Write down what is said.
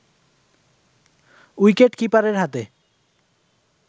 wicket কিপারের হাতে